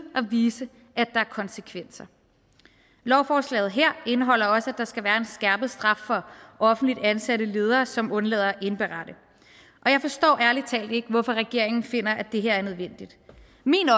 vise at der er konsekvenser lovforslaget her indeholder også at der skal være en skærpet straf for offentligt ansatte ledere som undlader at indberette og jeg forstår ærlig talt ikke hvorfor regeringen finder at det her er nødvendigt min